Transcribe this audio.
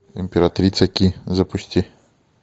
императрица ки запусти